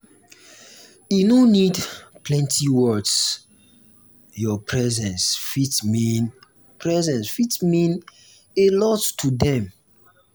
e no need plenty words your presence fit mean presence fit mean a lot to dem.